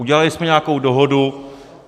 Udělali jsme nějakou dohodu.